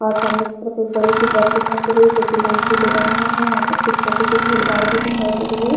वह सामने की तरफ एक बड़ी सी बस दिखाई दे रही जो की लाल पीले रंग में है वहाँ पर कुछ लोगो की भीड़-भाड़ भी दिखाई दे रही है।